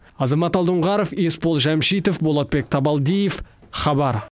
азамат алдоңғаров есбол жәмшитов болатбек табалдиев хабар